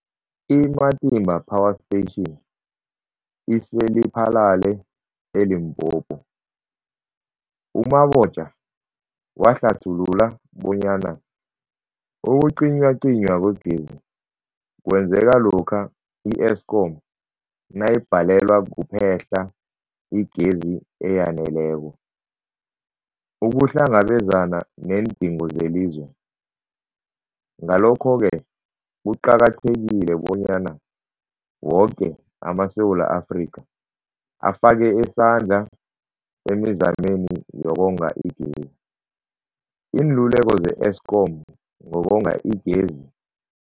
I-Matimba Power Station ise-Lephalale, eLimpopo. U-Mabotja wahlathulula bonyana ukucinywacinywa kwegezi kwenzeka lokha i-Eskom nayibhalelwa kuphe-hla igezi eyaneleko ukuhlangabezana neendingo zelizwe. Ngalokho-ke kuqakathekile bonyana woke amaSewula Afrika afake isandla emizameni yokonga igezi. Iinluleko ze-Eskom ngokonga igezi.